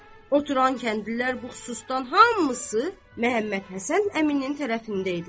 Oturan kəndlilər bu xususdan hamısı Məhəmmədhəsən əminin tərəfində idilər.